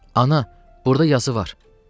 Ana, burda yazı var.